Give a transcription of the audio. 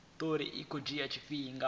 muvhuso u tea u vhumba